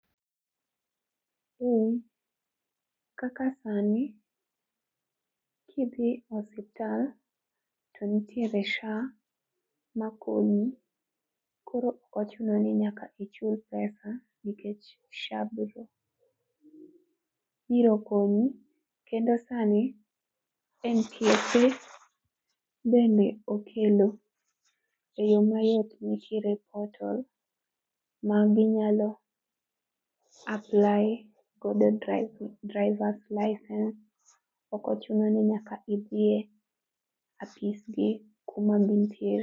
Kaka sani, kidhi e osiptal to nitiere SHA makonyi, koro ok ochuno ni nyaka ichul pesa nikech SHA biro konyi, kendo sani NTSA bende okelo e yo mayot nitiere portal ma ji nyalo apply godo drivers license. Ok ochuno ni nyaka idhi e afisgi kuma gintiere.